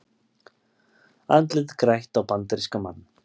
Andlit grætt á bandarískan mann